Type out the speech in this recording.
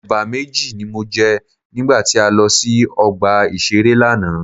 Ẹ̀bà méjì ni mo jẹ nígbà tí a lọ sí ọgbà ìṣeré lánàá.